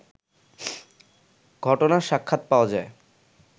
ঘটনার সাক্ষাৎ পাওয়া যায়